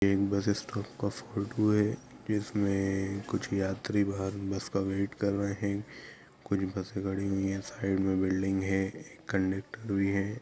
एक बसेस काप का फोटो है इसमें कुछ यात्री बाहर बस का वेट कर रहे है कुछ बसे खड़ी हुई है साइड में बिल्डिंग है कंडक्टर भी है।